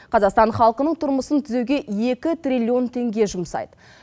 қазақстан халқының тұрмысын тізеуге екі триллион теңге жұмсайды